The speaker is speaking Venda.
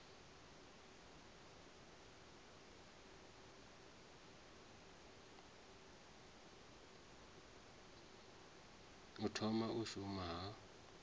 u thoma u shuma ha